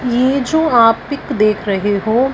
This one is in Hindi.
ये जो आप पिक देख रहे हो--